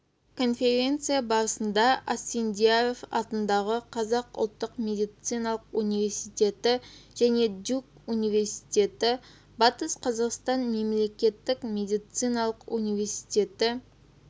конференция барысында асфендияров атындағы қазақ ұлттық медициналық университеті және дюк университеті батыс қазақстан мемлекеттік медициналық университеті